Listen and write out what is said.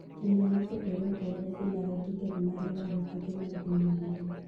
Timbe mopogore opogore dhilaro tiket mar laro tuke mag piny mangima.